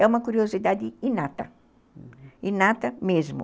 É uma curiosidade inata, uhum, inata mesmo.